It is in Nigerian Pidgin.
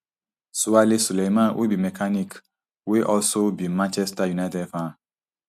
swale suleiman wey be mechanic wey also be manchester united fan